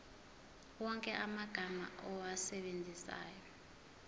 wonke amagama owasebenzisayo